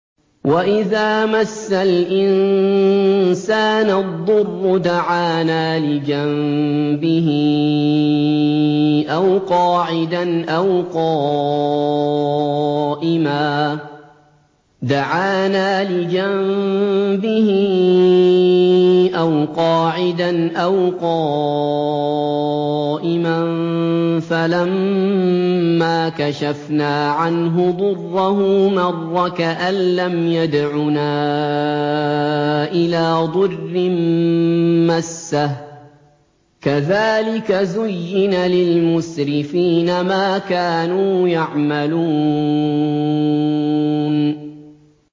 وَإِذَا مَسَّ الْإِنسَانَ الضُّرُّ دَعَانَا لِجَنبِهِ أَوْ قَاعِدًا أَوْ قَائِمًا فَلَمَّا كَشَفْنَا عَنْهُ ضُرَّهُ مَرَّ كَأَن لَّمْ يَدْعُنَا إِلَىٰ ضُرٍّ مَّسَّهُ ۚ كَذَٰلِكَ زُيِّنَ لِلْمُسْرِفِينَ مَا كَانُوا يَعْمَلُونَ